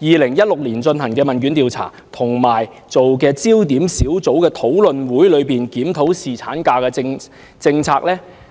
2016年進行的一項官方問卷調查研究，以及一個焦點小組討論會，檢討侍產假政策。